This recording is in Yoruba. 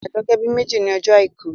Àjọkẹ́ bí ìbejì ní ọjọ́ àìkú